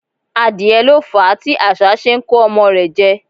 Adìẹ lo fàá tí asá se n ko ọmọ rẹ̀ jẹ́